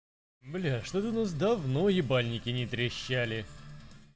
блядь что-то у нас давно ебальники не трещали